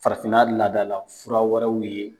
Farafinna laadala fura wɛrɛw ye